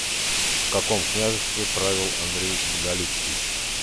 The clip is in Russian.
в каком княжестве правил андрей боголюбский